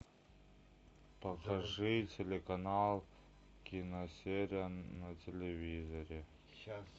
покажи телеканал киносерия на телевизоре